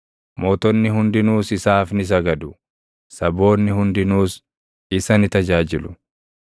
Mootonni hundinuus isaaf ni sagadu; saboonni hundinuus isa ni tajaajilu.